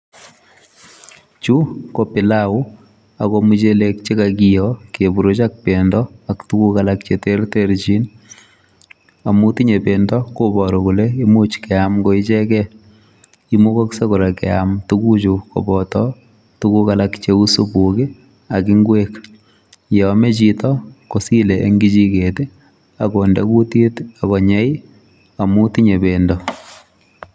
Chu ko pilau ago muchelek che kagio keburuch ak bendo ak tuguk alak che terterchin. Amu tinye bendo, kobaru kole imuch keam ko ichegei. Imugoksei kora keam tuguchu koboto tuguk alak cheu supuk ak ingwek. Yo ame chito kosile eng kichiget, agonde kutit, agonyei amu tinye bendo.